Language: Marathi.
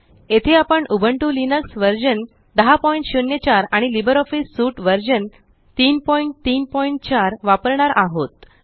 येथे आपण उबुंटू लिनक्स व्हर्शन 1004 आणि लिब्रिऑफिस सूट व्हर्शन 334 वापरणार आहोत